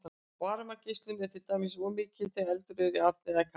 varmageislun er til dæmis oft mikil þegar eldur er í arni eða kamínu